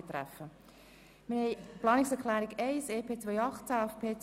wer die Planungserklärung 2 annehmen will, stimmt Nein.